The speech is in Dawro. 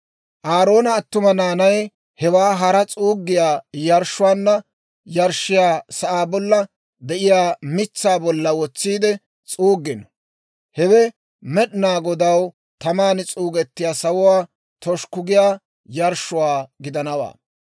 Aaroona attuma naanay hewaa hara s'uuggiyaa yarshshuwaanna yarshshiyaa sa'aa bolla de'iyaa mitsaa bolla wotsiide s'uuggino; hewe Med'inaa Godaw taman s'uuggiyaa, sawuwaa toshukku giyaa yarshshuwaa gidanawaa.